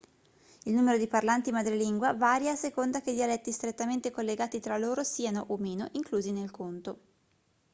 il numero di parlanti madrelingua varia a seconda che i dialetti strettamente collegati tra loro siano o meno inclusi nel conto